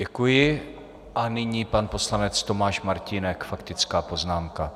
Děkuji a nyní pan poslanec Tomáš Martínek, faktická poznámka.